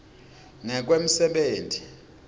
ngekwemsebenti